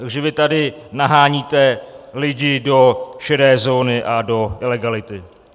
Takže vy tady naháníte lidi do šedé zóny a do ilegality.